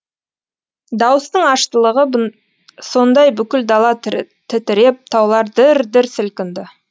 дауыстың аштылығы сондай бүкіл дала тітіреп таулар дір дір сілкінді